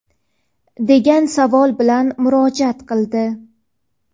degan savol bilan murojaat qildi.